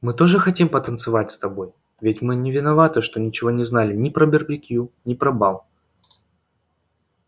мы тоже хотим потанцевать с тобой ведь мы не виноваты что ничего не знали ни про барбекю ни про бал